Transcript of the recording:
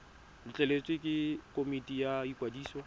letleletswe ke komiti ya ikwadiso